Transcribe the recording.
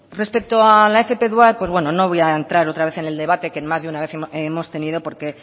respecto a la fp dual no voy a entrar otra vez en el debate que en más de una vez hemos tenido porque